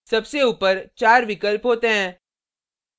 सबसे ऊपर चार विकल्प होते हैं